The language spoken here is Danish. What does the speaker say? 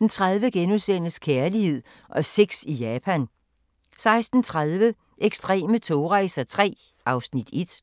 4)* 15:30: Kærlighed og sex i Japan * 16:30: Ekstreme togrejser III (Afs. 1)